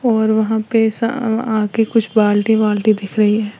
और वहां पे स अ आगे कुछ बाल्टी वाल्टी दिख रही है।